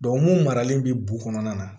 mun maralen bɛ bu kɔnɔna na